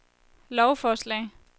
lovforslag